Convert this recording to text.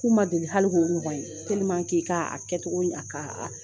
K'u ma deli hali k'o ɲɔgɔn ye ka kɛcogo a ka